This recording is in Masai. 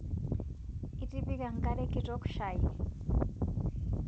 Itipika nkare kitok shai